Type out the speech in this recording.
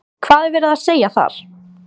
Hvað er verið að segja þar?